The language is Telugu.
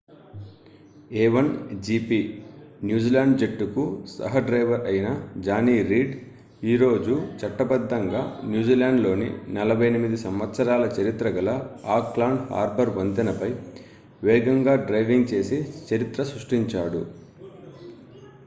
a1gp న్యూజిలాండ్ జట్టుకు సహ డ్రైవర్ అయిన జానీ రీడ్ ఈ రోజు చట్టబద్దంగా న్యూజిలాండ్లోని 48 సంవత్సరాల చరిత్ర గల ఆక్లాండ్ హార్బర్ వంతెనపై వేగంగా డ్రైవింగ్ చేసి చరిత్ర సృష్టించాడు